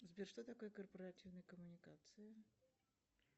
сбер что такое корпоративные коммуникации